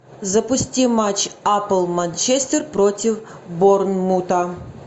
запусти матч апл манчестер против борнмута